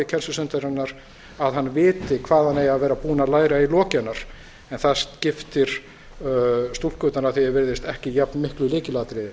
kennslustundarinnar að hann viti hvað hann eigi að vera búinn að læra í lok hennar en það skiptir stúlkurnar að því er virðist ekki jafnmiklu lykilatriði